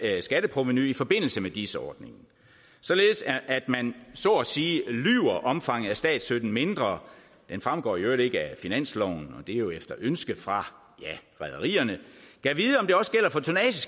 skatteprovenu i forbindelse med dis ordningen således at man så at sige lyver omfanget af statsstøtten mindre den fremgår i øvrigt ikke af finansloven og det er jo efter ønske fra rederierne